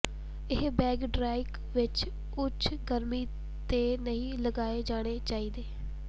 ਇਹ ਬੈਗ ਡ੍ਰਾਇਕ ਵਿੱਚ ਉੱਚ ਗਰਮੀ ਤੇ ਨਹੀਂ ਲਗਾਏ ਜਾਣੇ ਚਾਹੀਦੇ